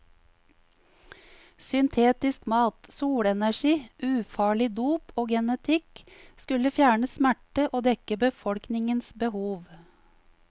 Syntetisk mat, solenergi, ufarlig dop og genetikk skulle fjerne smerte og dekke befolkningens behov.